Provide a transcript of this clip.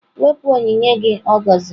Wepụ onyinye gị ọ gọziri!.